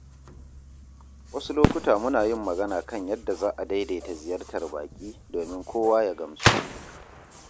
Wasu lokuta muna yin magana kan yadda za a daidaita ziyartar baƙi domin kowa ya gamsu.